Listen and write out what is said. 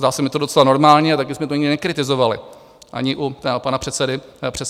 Zdá se mi to docela normální a taky jsme to nikdy nekritizovali, ani u pana předsedy rady.